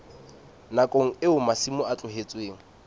nakong eo masimo a tlohetsweng